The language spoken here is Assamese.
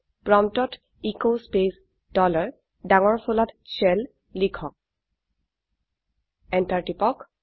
প্ৰম্পটত এচ স্পেচ ডলাৰ ডাঙৰ ফলাত শেল লিখক এন্টাৰ টিপক